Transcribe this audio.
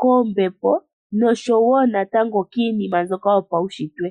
koombepo nosho wo kiinima mbyoka yopaunshitwe.